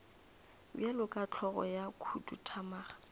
bjalo ka hlogo ya khuduthamaga